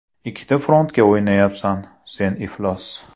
Ikkita frontga o‘ynayapsan, sen iflos!